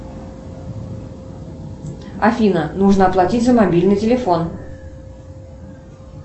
афина нужно оплатить за мобильный телефон